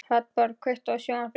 Hrafnborg, kveiktu á sjónvarpinu.